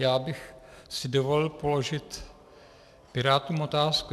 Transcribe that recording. Já bych si dovolil položit pirátům otázku.